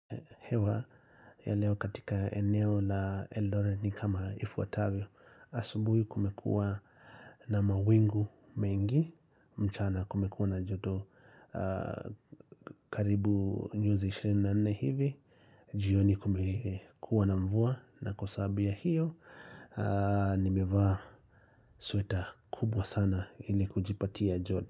Hewa ya leo katika eneo la eldoret ni kama ifuatavyo asubuhi kumekuwa na mawingu mengi mchana kumekuwa na joto karibu nyozi 24 hivi jioni kumekuwa na mvua na kwa sababu ya hiyo Nimevaa sweta kubwa sana ili kujipatia joto.